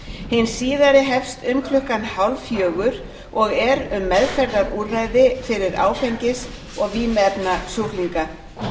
hin síðari hefst um klukkan hálffjögur og er um meðferðarúrræði fyrir áfengis og vímuefnasjúklinga